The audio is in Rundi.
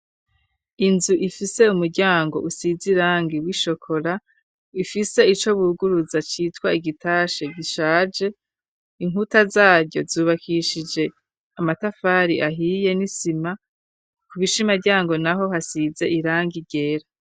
Inzu ifise umuryango usize iranga iw ishokora ifise ico buguruza citwa igitashe gishaje inkuta zaryo zubakishije amatafari ahiye n'isima ku bisha imaryango na ho hasize iranga igera.